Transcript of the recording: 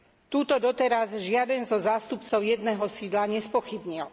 Túto doteraz žiaden zo zástupcov jedného sídla nespochybnil.